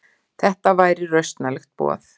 Þetta væri rausnarlegt boð.